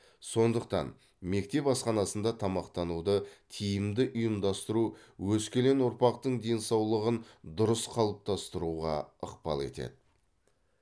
сондықтан мектеп асханасында тамақтануды тиімді ұйымдастыру өскелең ұрпақтың денсаулығын дұрыс қалыптастыруға ықпал етеді